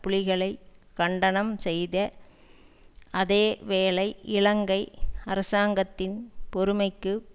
புலிகளை கண்டனம் செய்த அதே வேளை இலங்கை அரசாங்கத்தின் பொறுமைக்கு